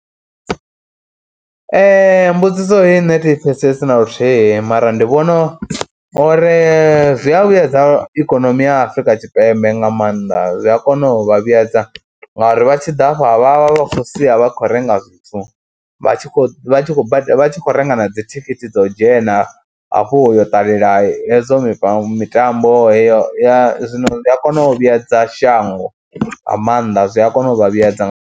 Mbudziso heyi nṋe thi pfhesesi na luthihi mara ndi vhona uri zwi a vhuyedza ikonomi ya Afrika Tshipembe nga maanḓa, zwi a kona u vha vhuyedza ngauri vha tshi ḓa hafha vha vha vha khou sia vha khou renga zwithu vha tshi khou renga na dzi thikhithi dza u dzhena hafhu u yo ṱalela hezwo mitambo heyo ya zwino ndi a kona u vhuedza shango nga maanḓa zwi a kona u vha vhuyedza.